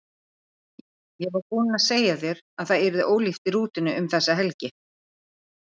Ég var búin að segja þér að það yrði ólíft í rútunni um þessa helgi.